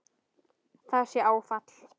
Það sé áfall.